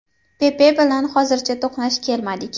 Pepe bilan hozircha to‘qnash kelmadik.